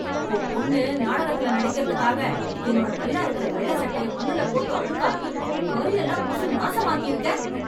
உன் பொண்ணு நாடகத்துல நடிக்கறதுக்காக, என்னோட நல்லா இருக்கற வெள்ள சட்டைய மண்ணுல போட்டு அழுக்காக்கி, கரியெல்லாம் பூசி நாசமாக்கியிருக்க....